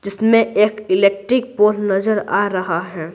जिसमें एक electric pole नजर आ रहा है।